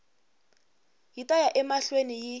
yi ta ya emahlweni yi